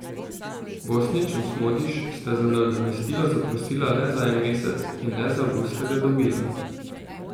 Bosnić in Smodiš sta za nadomestilo zaprosila le za en mesec in le za avgust sta ga dobila.